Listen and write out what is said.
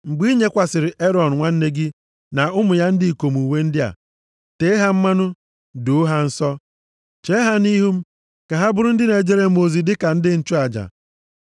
Mgbe i yinyekwasịrị Erọn nwanne gị na ụmụ ya ndị ikom uwe ndị a, tee ha mmanụ, doo ha nsọ. Chee ha nʼihu m ka ha bụrụ ndị na-ejere m ozi dịka ndị nchụaja.